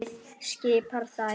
Liðið skipa þær